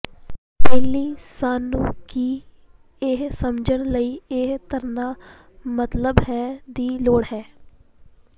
ਪਹਿਲੀ ਸਾਨੂੰ ਕੀ ਇਹ ਸਮਝਣ ਲਈ ਇਹ ਧਾਰਨਾ ਮਤਲਬ ਹੈ ਦੀ ਲੋੜ ਹੈ